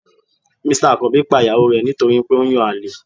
Mr akanbi pa iyawo re nítorí pe o n yán alè